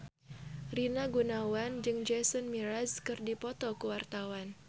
Rina Gunawan jeung Jason Mraz keur dipoto ku wartawan